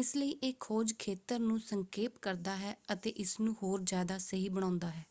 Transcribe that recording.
ਇਸ ਲਈ ਇਹ ਖੋਜ ਖੇਤਰ ਨੂੰ ਸੰਖੇਪ ਕਰਦਾ ਹੈ ਅਤੇ ਇਸਨੂੰ ਹੋਰ ਜ਼ਿਆਦਾ ਸਹੀ ਬਣਾਉਂਦਾ ਹੈ।